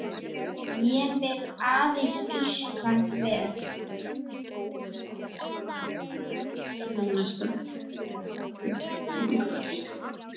Ég vil aðeins Íslandi vel.